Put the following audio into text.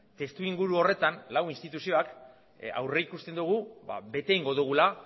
testuinguru horretan lau instituzioak aurrikusten dugu bete egingo dugula